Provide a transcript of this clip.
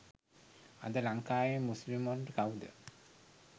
අද ලංකාවෙ මුස්ලිම්වරුන්ට කවුද